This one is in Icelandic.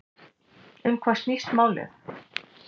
Um hvað snýst þetta mál?